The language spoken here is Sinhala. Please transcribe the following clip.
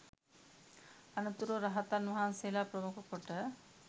අනතුරුව රහතන් වහන්සේලා ප්‍රමුඛ කොට